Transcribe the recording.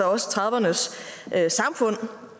også trediverne s samfund